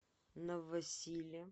новосиле